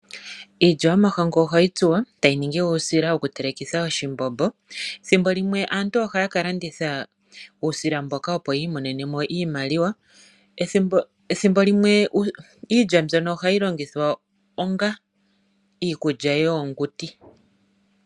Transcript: Iilya yomahangu ohayi tsuwa tayi ningi uusila wokutelekitha oshimbombo. Thimbo limwe aantu ohaya ka landitha uusila mboka opo yi imonene mo iimaliwa. Ethimbo limwe iilya mbyono ohayi longithwa onga iikulya yoonguti.